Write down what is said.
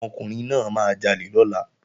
Ọmọkùnrin náà máa jalè lọ́la